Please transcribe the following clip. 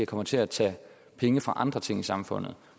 kommer til at tage penge fra andre ting i samfundet